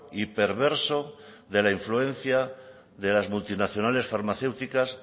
y perverso de la influencia de las multinacionales farmacéuticas